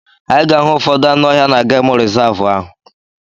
Anyị ga-ahụ ụfọdụ anụ ọhịa na gemụ rizavụ ahụ.